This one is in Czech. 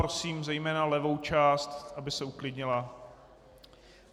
Prosím zejména levou část, aby se uklidnila.